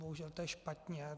Bohužel je to špatně.